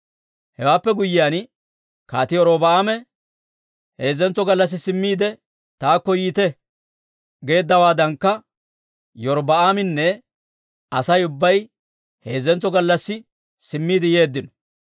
Hewaappe guyyiyaan Kaatii Robi'aame, «Heezzentso gallassi simmiide taakko yiite» geeddawaadankka, Iyorbbaaminne Asay ubbay heezzentso gallassi simmiide yeeddino.